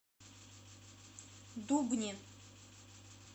дубне